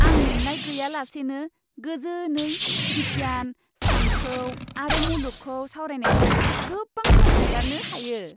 आं मेंनाय गैयालासेनो गोजोनै बिगियान, सानथौ आरो मुलुगखौ सावरायनायजों गोबां सम हगारनो हायो।